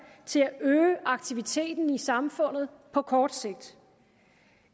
til at øge aktiviteten i samfundet på kort sigt